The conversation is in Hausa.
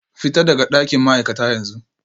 Fita daga dakin ma'aikata yanzu